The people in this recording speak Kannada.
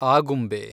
ಆಗುಂಬೆ